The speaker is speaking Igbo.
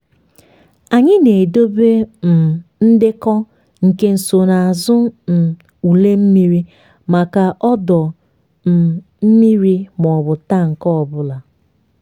anyị na-edobe um ndekọ nke nsonaazụ um ule mmiri maka ọdọ um mmiri maọbụ tank ọ bụla.